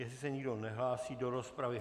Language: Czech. Jestli se nikdo nehlásí do rozpravy.